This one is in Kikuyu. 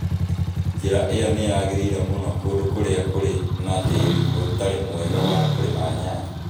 Njĩra ĩyo nĩ yagĩrĩire mũno kũndũ kũrĩa kũrĩ na tĩĩri ũtarĩ mwega wa kũrĩma nyanya.